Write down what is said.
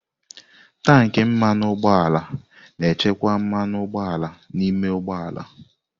Tanki mmanụ ụgbọala na-echekwa mmanụ ụgbọala n'ime ụgbọ ala.